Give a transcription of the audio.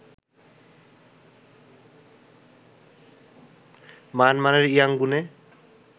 মায়ানমারের ইয়াংগুনে